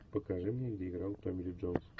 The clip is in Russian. покажи мне где играл томми ли джонс